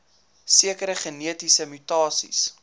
sekere genetiese mutasies